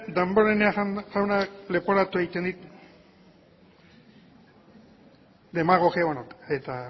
damborenea jaunak leporatu egiten dit eta